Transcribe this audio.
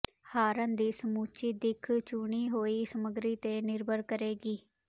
ਹਾਰਨ ਦੀ ਸਮੁੱਚੀ ਦਿੱਖ ਚੁਣੀ ਹੋਈ ਸਮੱਗਰੀ ਤੇ ਨਿਰਭਰ ਕਰੇਗੀ